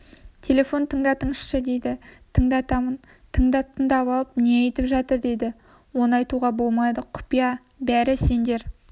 телефон тыңдатыңызшы дейді тыңдатамын тындап-тыңдап алып не айтып жатыр дейді оны айтуға болмайды құпия бәрі сендер